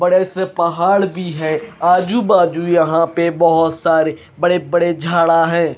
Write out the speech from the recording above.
बड़े से पहाड़ भी है आजू बाजू यहां पे बहोत सारे बड़े बड़े झाड़ा है।